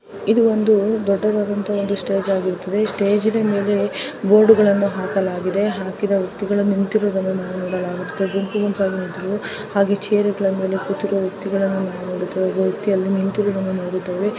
ಇದು ಒಂದು ದೊಡ್ಡ ಸ್ಟೇಜ್ ಆಗಿದೆ ಅಲ್ಲಿ ದೊಡ್ಡದಾದ ಬೋರ್ಡ್ ಹಾಕಲಾಗಿದೆ ಅಲ್ಲಿ ಜನಗಳು ಕೆಂಪಾಗಿ ಹಾಗೆ ಚೇರ್ಗಳ ಮೇಲೆ ಕು ಳುತ್ತಿರುವ ವ್ಯಕ್ತಿಗಳನ್ನು ನೋಡಬಹುದಾಗಿದೆ ಮತ್ತೆ ವ್ಯಕ್ತಿಗಳು ಅಲ್ಲಿ ನಿಂತಿರುವುದನ್ನು ನೋಡುತ್ತೇವೆ.